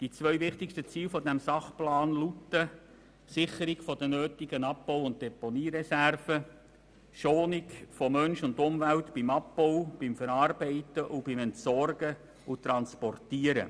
Die zwei wichtigsten Ziele dieses Sachplans lauten: Sicherung der nötigen Abbau- und Deponiereserven sowie Schonung von Mensch und Umwelt beim Abbau, bei der Verarbeitung, bei der Entsorgung und beim Transport.